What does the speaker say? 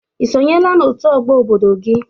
Ị sonyela n'òtù Ọgbọ obodo gị?